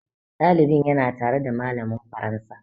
Ɗalibin ya na tare da malamin faransa